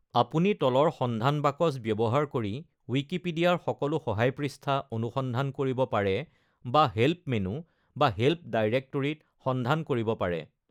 আপুনি তলৰ সন্ধান বাকচ ব্যৱহাৰ কৰি ৱিকিপিডিয়াৰ সকলো সহায় পৃষ্ঠা অনুসন্ধান কৰিব পাৰে, বা হেল্প মেনু বা হেল্প ডাইৰেকটৰিত সন্ধান কৰিব পাৰে।